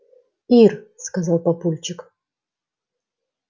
ир сказал папульчик